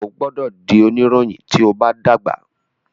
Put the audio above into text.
o gbódò dì onirohin tíó bá dàgbà!